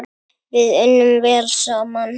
Við unnum vel saman.